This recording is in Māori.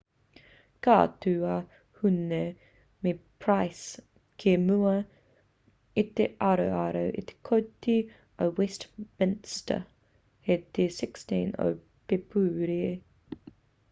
ka tū a huhne me pryce ki mua i te aroaro o te kōti o westminster hei te 16 o pēpuere